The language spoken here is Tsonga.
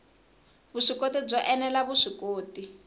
vuswikoti byo ene la vuswikoti